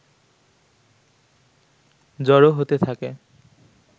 জড়ো হতে থাকে